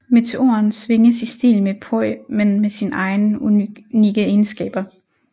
Meteoren svinges i stil med poi men med sine egne unikke egenskaber